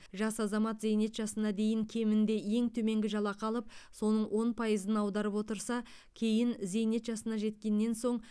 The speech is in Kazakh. жас азамат зейнет жасына дейін кемінде ең төменгі жалақы алып соның он пайызын аударып отырса кейін зейнет жасына жеткеннен соң